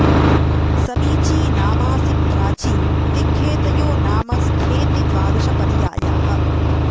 स॒मीची॒ नामा॑सि॒ प्राची॒ दिग्घे॒तयो॒ नाम॒ स्थेति॒ द्वाद॑श पर्या॒याः